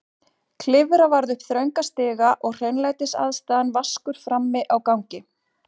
Klifra varð upp þrönga stiga og hreinlætisaðstaðan vaskur frammi á gangi.